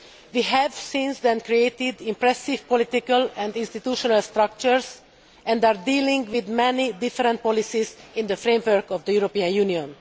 We have, since then, created impressive political and institutional structures and are dealing with many different policies in the framework of the European Union.